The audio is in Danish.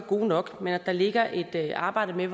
gode nok men at der ligger et arbejde med